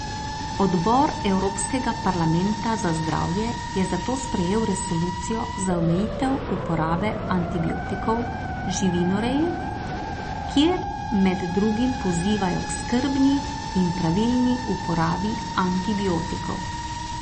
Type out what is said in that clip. Odbor Evropskega parlamenta za zdravje je zato sprejel resolucijo za omejitev uporabe antibiotikov v živinoreji, kjer med drugim pozivajo k skrbni in pravilni uporabi antibiotikov.